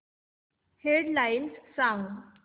head lines सांग